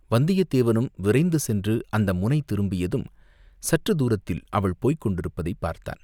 வந்தியத்தேவனும் விரைந்து சென்று அந்த முனை திரும்பியதும் சற்றுத் தூரத்தில் அவள் போய்க் கொண்டிருப்பதைப் பார்த்தான்.